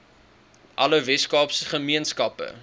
alle weskaapse gemeenskappe